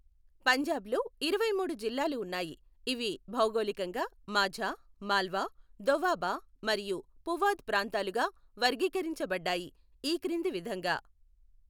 పంజాబ్లో ఇరవైమూడు జిల్లాలు ఉన్నాయి, ఇవి భౌగోళికంగా మాఝా, మాల్వా, దోవాబా మరియు పువాద్ ప్రాంతాలుగా వర్గీకరించబడ్డాయి, ఈ క్రింది విధంగా.